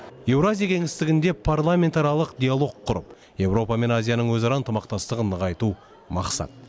еуразия кеңістігінде парламентаралық диалог құрып еуропа мен азияның өзара ынтымақтастығын нығайту мақсат